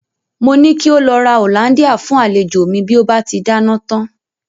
Mo ní kí ó lọ ra hollandia fún àlejò mi bí ó bá ti dáná tán.